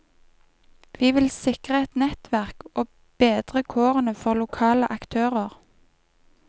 Vi vil sikre et nettverk og bedre kårene for lokale aktører.